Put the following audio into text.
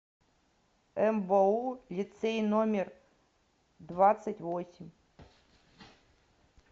мбоу лицей номер двадцать восемь